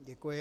Děkuji.